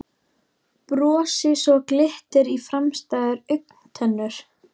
Brosi svo glittir í framstæðar augntennur.